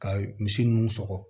Ka misi ninnu sɔgɔ